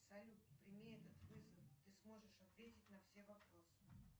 салют прими этот вызов ты сможешь ответить на все вопросы